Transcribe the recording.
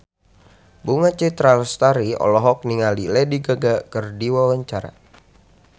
Bunga Citra Lestari olohok ningali Lady Gaga keur diwawancara